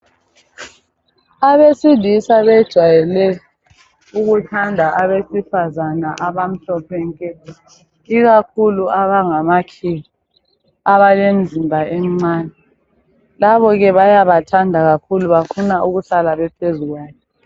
Abesilisa benjwale ukuthanda abesifazana abamhlophe nke, ikakhulu abangamakhiwa, abalemzimba emncane. Labokhe bayathanda kakhulu, bafuna ukuhlala bephuzu kwayo.